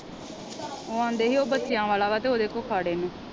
ਉਹ ਆਂਦੇ ਹੀ ਉਹ ਬੱਚਿਆਂ ਵਾਲਾ ਵਾ ਤੇ ਉਹ ਦੇ ਕੋ ਖੜ ਇਹਨੂੰ।